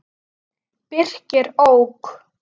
Birkir ók.